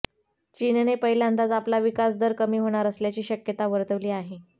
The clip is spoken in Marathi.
चीनने पहिल्यांदाच आपला विकासदर कमी होणार असल्याची शक्यता वर्तवली आहे